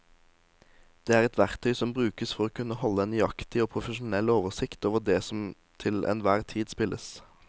Det er et verktøy som brukes for å kunne holde en nøyaktig og profesjonell oversikt over det som til enhver tid spilles.